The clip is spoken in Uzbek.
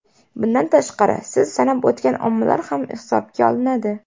Bundan tashqari, siz sanab o‘tgan omillar ham hisobga olinadi.